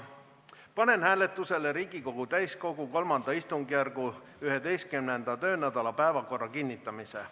Panen hääletusele Riigikogu täiskogu III istungjärgu 11. töönädala päevakorra kinnitamise.